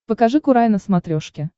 покажи курай на смотрешке